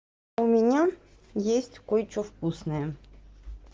у меня есть кое-что вкусное